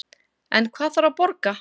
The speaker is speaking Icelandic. En hvað þarf að borga